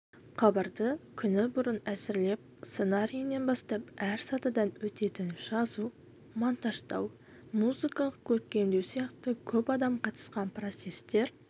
хабарды күні бұрын әзірлеп сценарийінен бастап әр сатыдан өтетін жазу монтаждау музыкалық көркемдеу сияқты көп адам қатысқан процестер